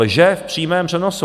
Lže v přímém přenosu.